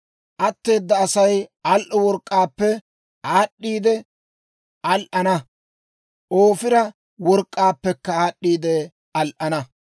Atteeda Asay al"o work'k'aappe aad'd'iide al"ana; Ofiira work'k'aappekka aad'd'iide al"ana.